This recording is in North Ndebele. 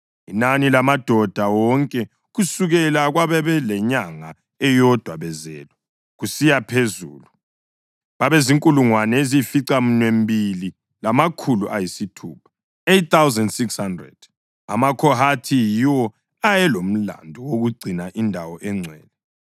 Inani lamadoda wonke kusukela kwabalenyanga eyodwa bezelwe kusiya phezulu babezinkulungwane eziyisificaminwembili lamakhulu ayisithupha (8,600). AmaKhohathi yiwo ayelomlandu wokugcina indawo engcwele.